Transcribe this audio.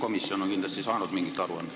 Väliskomisjon on kindlasti saanud mingi aruande.